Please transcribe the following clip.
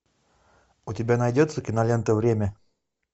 у тебя найдется кинолента время